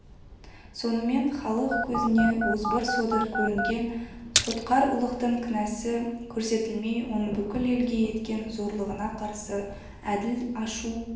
сонымен халық көзіне озбыр содыр көрінген сотқар ұлықтың кінәсы көрсетілмей оның бүкіл елге еткен зорлығына қарсы әділ ашу